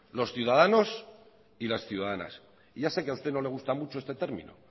los ciudadanos y las ciudadanas ya sé que a usted no le gusta mucho este término